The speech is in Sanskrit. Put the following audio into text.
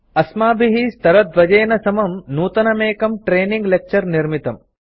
अस्माभिः स्तरद्वयेन समं नूतनमेकं ट्रेनिंग लेक्चर निर्मितम्